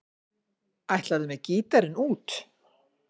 Ætlarðu með gítarinn út?